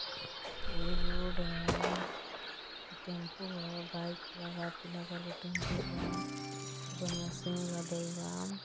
ई road हम् । Tempo ह। Bike खड़ा बा टेंपू बा। ओप मशीन लादल बा।